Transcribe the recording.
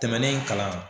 Tɛmɛnen kalan